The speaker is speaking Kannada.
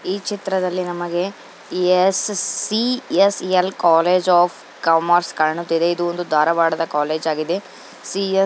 ಈ ಚಿತ್ರದಲ್ಲಿ ನಮಗೆ S C. S. L. College of commerce ಕಾಣುತ್ತಿದೆ ಇದು ಒಂದು ಧಾರವಾಡದ ಕಾಲೇಜ್ ಆಗಿದೆ. ಸಿ--